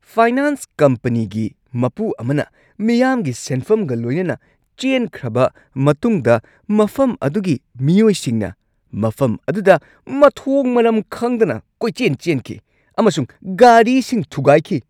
Finance ꯀꯝꯄꯅꯤꯒꯤ ꯃꯄꯨ ꯑꯃꯅ ꯃꯤꯌꯥꯝꯒꯤ ꯁꯦꯟꯐꯝꯒ ꯂꯣꯏꯅꯅ ꯆꯦꯟꯈ꯭ꯔꯕ ꯃꯇꯨꯡꯗ ꯃꯐꯝ ꯑꯗꯨꯒꯤ ꯃꯤꯑꯣꯏꯁꯤꯡꯅ ꯃꯐꯝ ꯑꯗꯨꯗ ꯃꯊꯣꯡ-ꯃꯔꯝ ꯈꯪꯗꯅ ꯀꯣꯏꯆꯦꯟ-ꯆꯦꯟꯈꯤ ꯑꯃꯁꯨꯡ ꯒꯥꯔꯤꯁꯤꯡ ꯊꯨꯒꯥꯏꯈꯤ ꯫